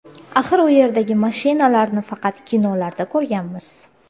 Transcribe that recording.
Axir u yerdagi mashinalarni faqat kinolarda ko‘rganmiz.